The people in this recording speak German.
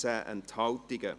Non Enthalten